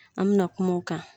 An bɛna kuma o kan